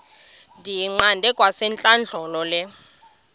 ndiyiqande kwasentlandlolo le